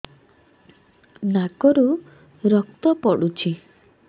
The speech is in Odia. ନାକରୁ ରକ୍ତ ପଡୁଛି